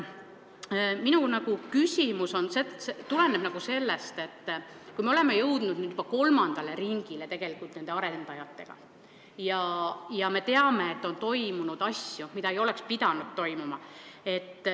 Minu küsimus tuleneb sellest, et me oleme tegelikult jõudnud nende arendajatega juba kolmandale ringile ja me teame, et on toimunud asju, mida ei oleks pidanud toimuma.